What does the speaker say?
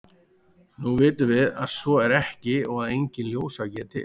nú vitum við að svo er ekki og að enginn ljósvaki er til